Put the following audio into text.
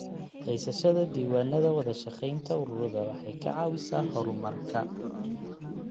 Haysashada diiwaanada wada shaqaynta ururada waxay ka caawisaa horumarka.